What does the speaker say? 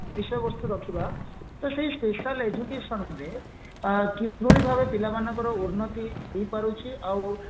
ବିଷୟବସ୍ତୁ ରହିବା ଯ ସେଇ special educationରେ କିଭଳି ଭାବରେ ପିଲାମାନଙ୍କର ଉନ୍ନତି ହେଇ ପାରୁଛି ଆଉ